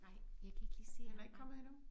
Nej jeg kan ikke lige se ham nej